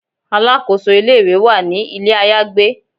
Alakoso ile-iwe wa ni ile ayagbe